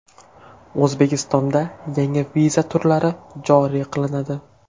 O‘zbekistonda yangi viza turlari joriy qilinadi.